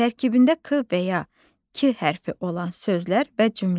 Tərkibində k və ya k hərfi olan sözlər və cümlə.